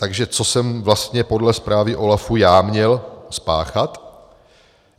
Takže co jsem vlastně podle zprávy OLAFu já měl spáchat?